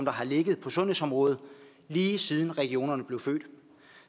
har ligget på sundhedsområdet lige siden regionerne blev født og